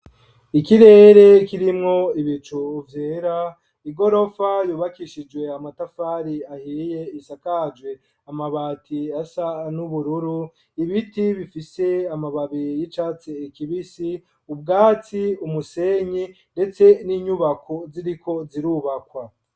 Ikirere kirimwo ibicu vyera igorofa yubakishijwe amatafari ahiye isakaje amabati asa n'ubururu ibiti bifise amababi y'icatsi kibisi ubwatsi umusenyi ndetse n'inyubako ziriko zirubakwa.